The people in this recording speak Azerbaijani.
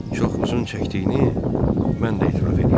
Çox uzun çəkdiyini mən də etiraf eləyirəm.